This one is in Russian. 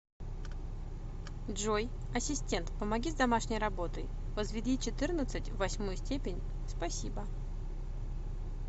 джой ассистент помоги с домашней работой возведи четырнадцать в восьмую степень спасибо